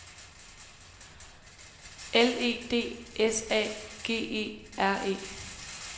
L E D S A G E R E